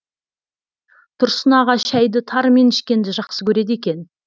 тұрсын аға шәйді тарымен ішкенді жақсы көреді екен